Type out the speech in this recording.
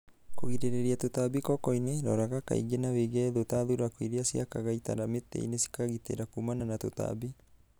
Kũgirĩrĩria tũtambi kokoinĩ, roraga kaingĩ na wĩige thũũ ta thuraku irĩciakaga itara mitĩinĩ cikagitĩra kumana na tũtambi.